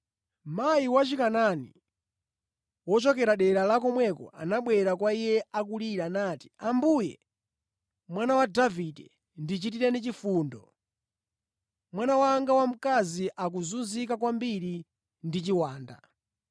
Mayi wa Chikanaani wochokera dera la komweko anabwera kwa Iye akulira, nati, “Ambuye, Mwana wa Davide, ndichitireni chifundo! Mwana wanga wamkazi akuzunzika kwambiri ndi chiwanda.”